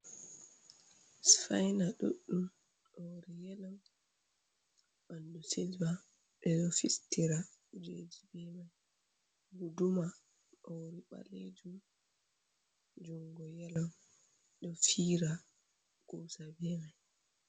Sufayna ɗuɗɗum hoore yelo ɓanndu silva, ɓe ɗo fistira kujeji be may. Guduma ɗo hoore ɓaleejum, junngo yelo, ɗo fira kuusa be may.